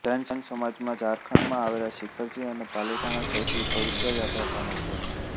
જૈન સમાજમાં ઝારખંડમાં આવેલા શિખરજી અને પાલીતાણા સૌથી પવિત્ર યાત્રાધામો છે